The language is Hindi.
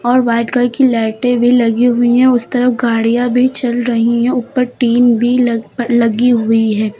और व्हाइट कलर की लाइटे भी लगी हुई है उस तरफ गाड़ियां भी चल रही है ऊपर टीन भी लग प लगी हुई है।